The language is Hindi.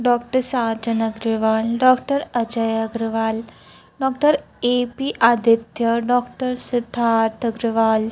doctor Sajan Agarwal doctor Ajay Agarwal doctor A P Aditya doctor Siddharth Agarwal--